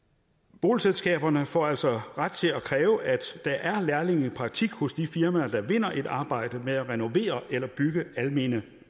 boligselskaberne får altså ret til at kræve at der er lærlingepraktik hos de firmaer der vinder et arbejde med at renovere eller bygge almene